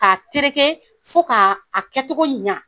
K'a tereke fo k'a kɛcogo ɲɛ